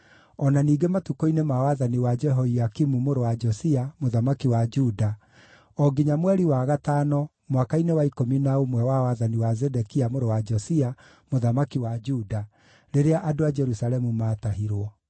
o na ningĩ matukũ-inĩ ma wathani wa Jehoiakimu mũrũ wa Josia, mũthamaki wa Juda, o nginya mweri wa gatano, mwaka-inĩ wa ikũmi na ũmwe wa wathani wa Zedekia mũrũ wa Josia, mũthamaki wa Juda, rĩrĩa andũ a Jerusalemu maatahirwo.